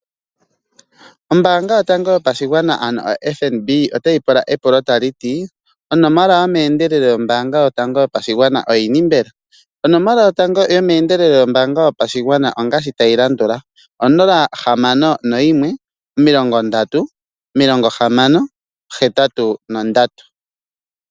Oombanga yootango yopashigwana ano Fnb otayi pula epulo tali ti onomola yomeendelelo yoombanga yotango yo pashigwana oyini mbela? Onomola yotango yomeendelelo yoombanga yopashigwana ongashi tayi landula 061306083.